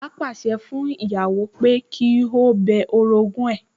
Bàbá pàṣẹ fún ìyàwó pé kí ó bẹ orogún ẹ̀